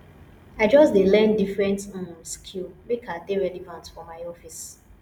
i just dey learn different um skill make i dey relevant for my office